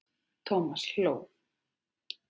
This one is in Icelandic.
Thomas hló.